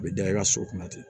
A bɛ da i ka so kunna ten